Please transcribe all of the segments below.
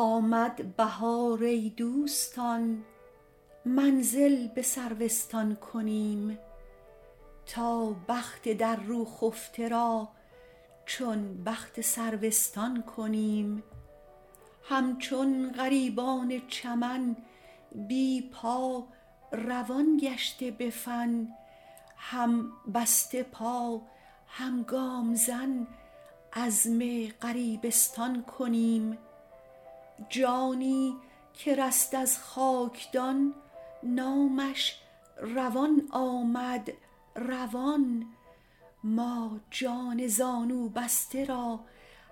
آمد بهار ای دوستان منزل به سروستان کنیم تا بخت در رو خفته را چون بخت سرو استان کنیم همچون غریبان چمن بی پا روان گشته به فن هم بسته پا هم گام زن عزم غریبستان کنیم جانی که رست از خاکدان نامش روان آمد روان ما جان زانوبسته را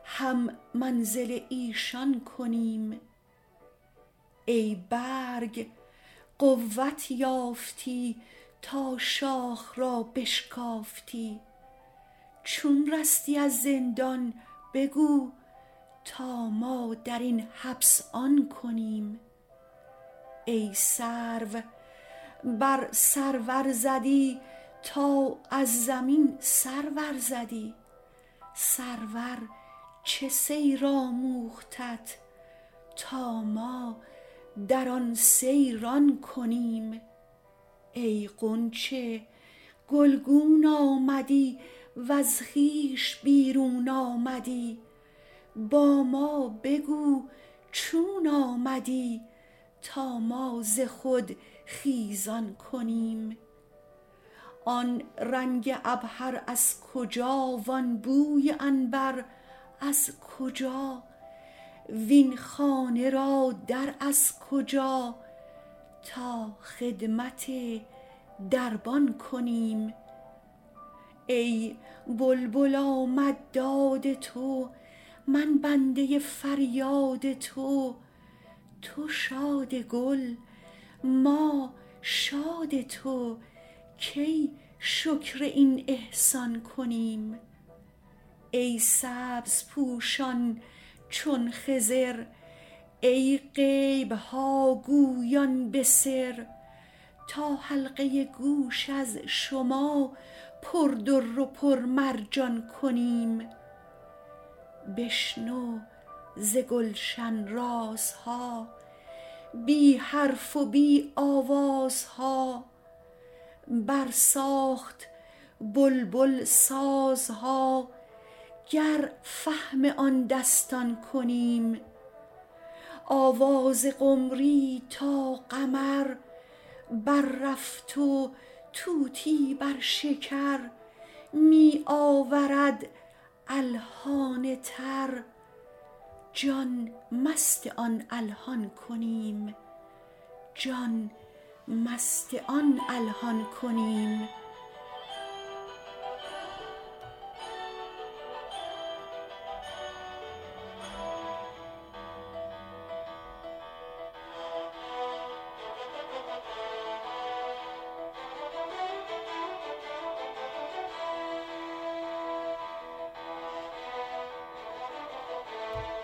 هم منزل ایشان کنیم ای برگ قوت یافتی تا شاخ را بشکافتی چون رستی از زندان بگو تا ما در این حبس آن کنیم ای سرو بر سرور زدی تا از زمین سر ورزدی سرور چه سیر آموختت تا ما در آن سیران کنیم ای غنچه گلگون آمدی وز خویش بیرون آمدی با ما بگو چون آمدی تا ما ز خود خیزان کنیم آن رنگ عبهر از کجا وان بوی عنبر از کجا وین خانه را در از کجا تا خدمت دربان کنیم ای بلبل آمد داد تو من بنده فریاد تو تو شاد گل ما شاد تو کی شکر این احسان کنیم ای سبزپوشان چون خضر ای غیب ها گویان به سر تا حلقه گوش از شما پر در و پرمرجان کنیم بشنو ز گلشن رازها بی حرف و بی آوازها برساخت بلبل سازها گر فهم آن دستان کنیم آواز قمری تا قمر بررفت و طوطی بر شکر می آورد الحان تر جان مست آن الحان کنیم